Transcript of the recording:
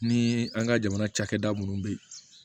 Ni an ka jamana cakɛda munnu be yen